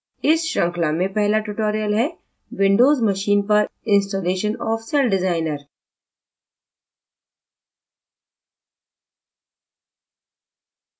इस श्रृंखला में पहला tutorial हैwindows machine पर इंस्टालेशन ऑफ़ सेल डिज़ाइनर